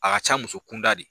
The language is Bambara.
A ka ca muso kunda de.